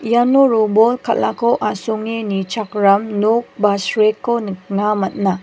iano robol kal·ako asonge nichakram nok an srekko nikna man·a.